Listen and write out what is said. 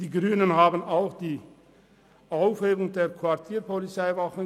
Die Grünen kritisierten auch die Aufhebung der Quartierpolizeiwachen.